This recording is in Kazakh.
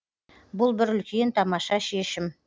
бұл бір үлкен тамаша шешім